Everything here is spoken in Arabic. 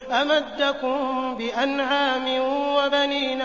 أَمَدَّكُم بِأَنْعَامٍ وَبَنِينَ